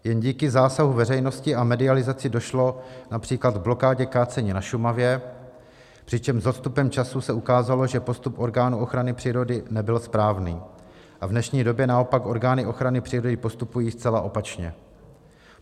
Jen díky zásahu veřejnosti a medializaci došlo například k blokádě kácení na Šumavě, přičemž s odstupem času se ukázalo, že postup orgánů ochrany přírody nebyl správný, a v dnešní době naopak orgány ochrany přírody postupují zcela opačně.